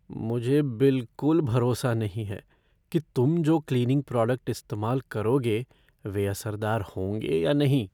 मुझे बिलकुल भरोसा नहीं है कि तुम जो क्लीनिंग प्रोडक्ट इस्तेमाल करोगे वे असरदार होंगे या नहीं।